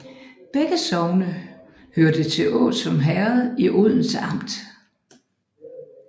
Begge sogne hørte til Åsum Herred i Odense Amt